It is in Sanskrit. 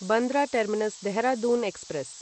Bandra terminus Dehradun express